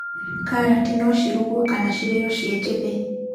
Karati no cirugwo kana cirĩo cinjĩthĩ.